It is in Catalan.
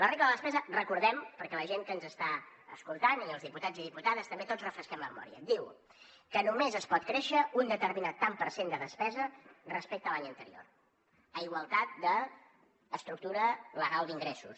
la regla de la despesa ho recordem perquè la gent que ens està escoltant i els diputats i diputades també tots refresquem la memòria diu que només es pot créixer un determinat tant per cent de despesa respecte a l’any anterior a igualtat d’estructura legal d’ingressos